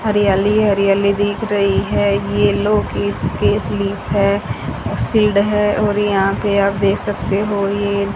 हरियाली हरियाली दिख रही है ये लोग इसके स्लिप है शील्ड है और यहां पे आप दे सकते हो ये--